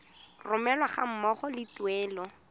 romelwa ga mmogo le tuelo